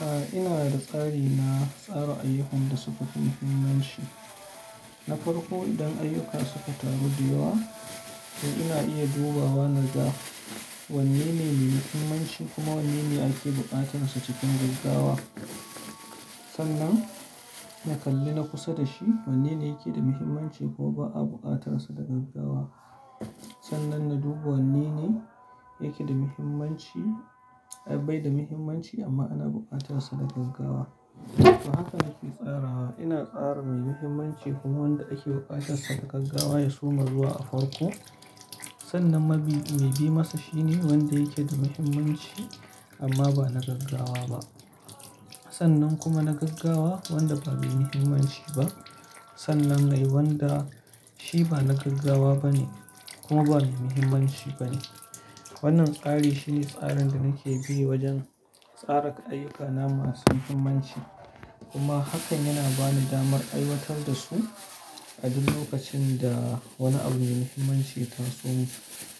A'a, ina da tsari na tsara ayyukan da suka fi muhimmanci. Na farko idan ayyuka suka taru dayawa to ina iya dubawa na ga wanne ne mai muhimmanci kuma wanne ne ake buƙatar sa cikin gaggawa. Sannan na kalli na kusa da shi wanne ne yake da muhimmanci ko ba a buƙatar sa daga gaggawa. Sannan na dubi wanne ne yake da muhimmanci, bai da muhimmanci amma ana buƙatar sa daga gaggawa. To haka nake tsara. Ina tsara mai muhimmanci kuma wanda ake buƙatar sa daga gaggawa ya suma zuwa a farko. Sannan mabiyi mai bi masa shine wanda yake da muhimmanci amma ba na gaggawa ba. Sannan kuma na gaggawa wanda ba bai muhimmanci ba. Sannan dai wanda shi ba na gaggawa bane kuma ba mai muhimmanci bane. Wannan tsari shine tsarin da nake bi wajen tsara ayyukana masu muhimmanci. Kuma hakan yana bani damar aiwatar da su a duk lokacin da wani abu mai muhimmanci ta zo